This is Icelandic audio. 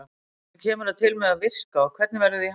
Hvernig kemur það til með að virka og hvernig verður því háttað?